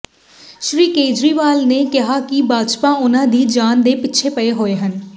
ਸ੍ਰੀ ਕੇਜਰੀਵਾਲ ਨੇ ਕਿਹਾ ਕਿ ਭਾਜਪਾ ਉਨ੍ਹਾਂ ਦੀ ਜਾਨ ਦੇ ਪਿੱਛੇ ਪਈ ਹੋਈ ਹੈ